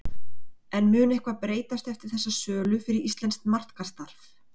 En mun eitthvað breytast eftir þessa sölu fyrir íslenskt markaðsstarf?